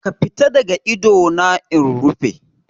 Ka fita daga ido na in rufe.